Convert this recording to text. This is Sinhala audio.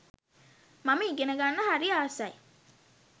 මම ඉගෙනගන්න හරි ආසයි.